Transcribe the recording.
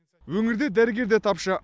өңірде дәрігер де тапшы